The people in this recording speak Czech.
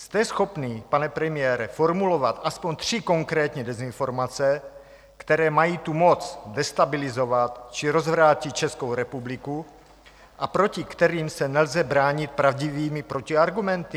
Jste schopný, pane premiére, formulovat aspoň tři konkrétní dezinformace, které mají tu moc destabilizovat či rozvrátit Českou republiku a proti kterým se nelze bránit pravdivými protiargumenty?